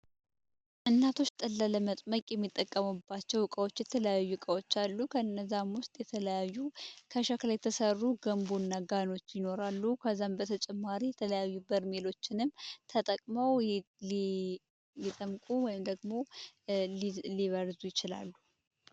እናቶች ጠላ ለመጥመቅ የሚጠቀሙባቸው የተለያዩ እቃዎች አሉ ከነሱም ውስጥ ከሸክላ የተሰሩ የተለያዩ ገንቦ እና ጋኖች ይኖራሉ። ከዚህም በተጨማሪ የተለያዩ በርሜሎችንም ተጠቅመው ሊጠምቁ ወይም ደግሞ ሊበርዙ ይችላሉ።